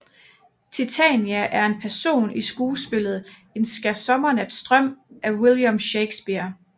Titania er en person i skuespillet En skærsommernatsdrøm af William Shakespeare